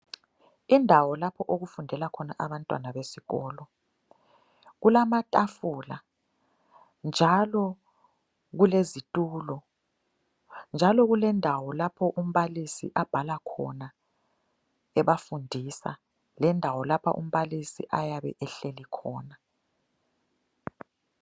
Indawo lapho okufundela khona abantwana besikolo, kulamatafula njalo kulezitulo njalo kulendawo lapho umbalisi abhala khona ebafundisa lendawo lapha umbalisi ayabe ehlelikhona.